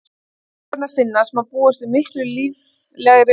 Um leið og leifarnar finnast má því búast við miklu líflegri umræðum.